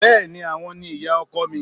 Bẹ́ẹ́ni, àwọn ni ìyá ọkọ mi